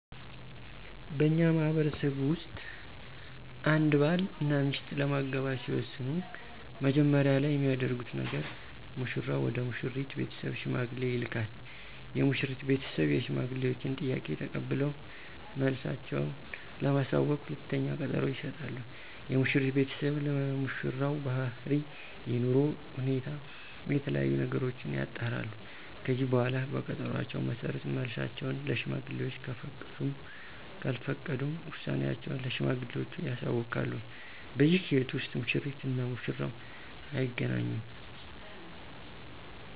በእኛ ማህበረሰብ ውስጥ አንድ ባል እና ሚስት ለመጋባት ሲወስኑ መጀመሪያ ላይ የሚያደርጉት ነገር ሙሽራው ወደ ሙሽሪት ቤተሰብ ሽማግሌ ይልካል። የሙሽሪት ቤተሰብ የሽማግሌወችን ጥያቄ ተቀብለው መልሳቸው ለማሳወቅ ሁለተኛ ቀጠሮ ይሰጣሉ። የሙሽሪት ቤተሰብም ስለሙሽራው ባህሪ፣ የኑሮ ሁኔታ እና የተለያዬ ነገሮችን ያጣራሉ። ከዚህ በኃላ በቀጠሮአቸው መሠረት መልሳቸውን ለሽማግሌወች ከፈቀዱም ካልፈቀዱም ውሳኔአቸውን ለሽማግሌወቹ ያሳውቃሉ። በዚህ ሂደት ውስጥ ሙሽሪት እና ሙሽራው አይገናኙም።